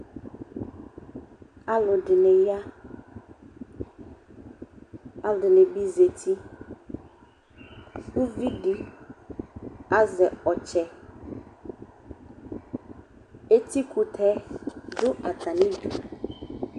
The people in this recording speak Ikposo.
Alʋdɩnɩ ya, alʋdɩnɩ bɩ zati Uvi dɩ azɛ ɔtsɛ Etikʋtɛ dʋ atamɩdu